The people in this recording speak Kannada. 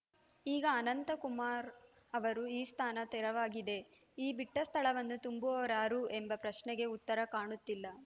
ಈಗ ಅನಂತ ಕುಮಾರ್‌ ಅವರು ಈ ಸ್ಥಾನ ತೆರವಾಗಿದೆ ಈ ಬಿಟ್ಟಸ್ಥಳವನ್ನು ತುಂಬುವವರಾರು ಎಂಬ ಪ್ರಶ್ನೆಗೆ ಉತ್ತರ ಕಾಣುತ್ತಿಲ್ಲ